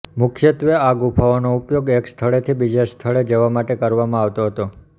મુખ્યત્વે આ ગુફાઓનો ઉપયોગ એક સ્થળેથી બીજા સ્થળે જવા માટે કરવામાં આવતો હતો